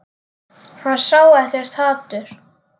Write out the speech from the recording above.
Hann sá ekkert hatur.